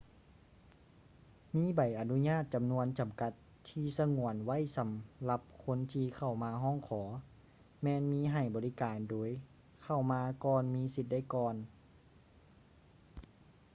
ມີໃບອະນຸຍາດຈຳນວນຈຳກັດທີ່ສະຫງວນໄວ້ສຳລັບຄົນທີ່ເຂົ້າມາຮ້ອງຂໍແມ່ນມີໃຫ້ບໍລິການໂດຍເຂົ້າມາກ່ອນມີສິດໄດ້ກ່ອນ